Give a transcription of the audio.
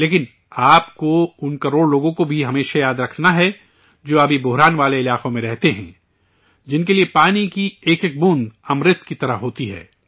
لیکن، آپ کو ان کروڑوں لوگوں کو بھی ہمیشہ یاد رکھنا ہے، جو پانی کی کمی والے علاقوں میں رہتے ہیں، جن کے لیے پانی کی ایک ایک بوند امرت کی طرح ہوتی ہے